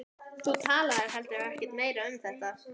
Lagaðir þig að smekk annars fólks.